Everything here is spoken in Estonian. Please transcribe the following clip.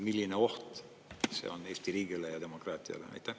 Milline oht see on Eesti riigile ja demokraatiale?